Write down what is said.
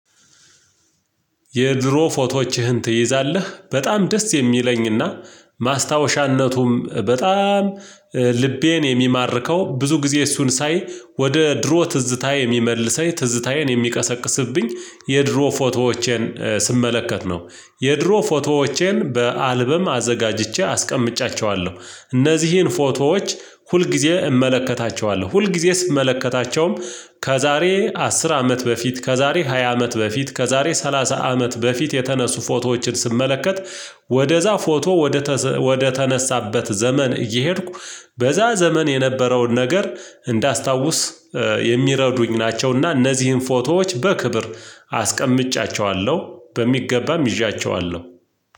የድሮ ፎቶዎችህን ትይዛለህ በጣም ደስ የሚለኝ እና ማስታወሻነቱም በጣም ልቤን የሚማርከው ብዙ ጊዜ እሱን ሳይ ወደ ድሮ ትዝታዬ የሚመልሰኝ ትዝታዬን የሚቀሰቅስብኝ የድሮ ፎቶዎቼን ስመለከት ነው። የድሮ ፎቶዎቼን በአልበም አዘጋጅቼ አስቀምጫቸዋለሁ። እነዚህን ፎቶዎች ሁል ጊዜ እመለከታቸዋለሁ ሁል ጊዜ ስመለከታቸውም ከዛሬ አስር አመት በፊት ከዛሬ ሃያ አመት በፊት ከዛሬ ሰላሳ አመት በፊት የተነሱ ፎቶዎችን ስመለከት ወደዛ ፎቶ ወደ ወደተነሳበት ዘመን እየሄድኩ በዛ ዘመን የነበረውን ነገር እንዳስታውስ የሚረዱኝ ናቸውና እነዚህን ፎቶዎች በክብር አስቀምጫቸዋለሁ። በሚገባም ይዣቸዋለሁ።